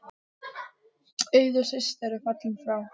Auður systir er fallin frá.